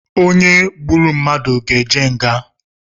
Onye gburu mmadụ ga eje nga